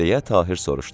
deyə Tahir soruştu.